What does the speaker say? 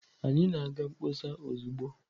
Anyị na-aga mkpọsa ozugbo.